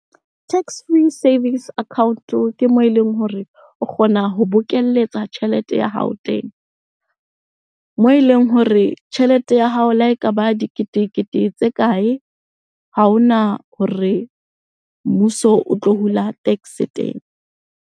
Tax-free savings account-o ke moo eleng hore o kgona ho bokelletsa tjhelete ya hao teng. Moo eleng hore tjhelete ya hao le ha ekaba diketekete tse kae, ha hona hore mmuso o tlo hula tax teng.